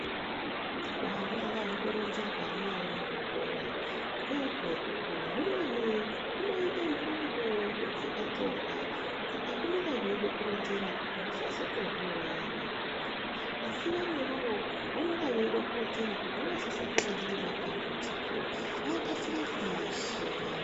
Hwana ngahutoronzerwa munyari muzvikora ngezvekukura. Humweni hunoite ntumbu huchakatsonga saka hunonga hweide kuronzera kuti husazotozviuraya haho asi vamweni vanonga veida kuronzera kuti voozosanganahe nematambudziko vakasire kumaashira.